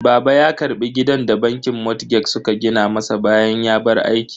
Baba ya karbi gidan da bankin motgeg suka gina masa bayan ya bar aiki.